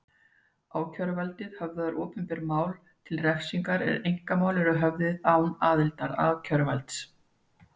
Ákæruvaldið höfðar opinber mál til refsingar en einkamál eru höfðuð án aðildar ákæruvalds.